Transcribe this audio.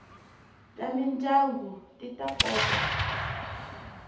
ta mindyangu ti ta kota